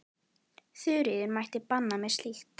Þuríður mælti banna mér slíkt.